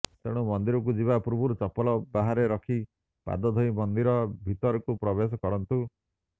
ତେଣୁ ମନ୍ଦିରକୁ ଯିବା ପୂର୍ବରୁ ଚପଲ ବାହାରେ ରଖି ପାଦ ଧୋଇ ମନ୍ଦିର ଭିତରକୁ ପ୍ରବେଶ କରନ୍ତୁ